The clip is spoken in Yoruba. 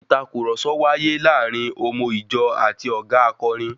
Ìtàkurọ̀sọ wàyè láàrín òmo ìjọ àti ọ̀ga akọrin.